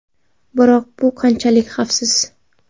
Biroq bu qanchalik xavfsiz?